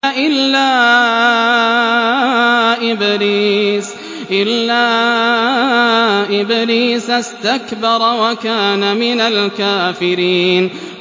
إِلَّا إِبْلِيسَ اسْتَكْبَرَ وَكَانَ مِنَ الْكَافِرِينَ